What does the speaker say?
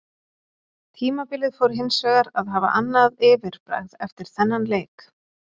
Tímabilið fór hinsvegar að hafa annað yfirbragð eftir þennan leik.